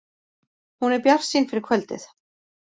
Hún er bjartsýn fyrir kvöldið